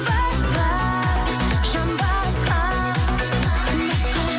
басқа жан басқа басқа